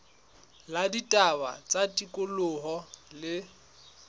la ditaba tsa tikoloho le